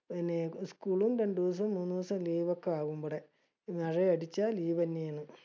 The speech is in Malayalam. പിന്നെ school ഉം രണ്ടൂസം മൂന്നൂസം leave ഒക്കെ ആവും ഇബടെ. മഴയടിച്ച leave തന്നെയാണ്.